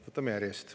Võtame järjest.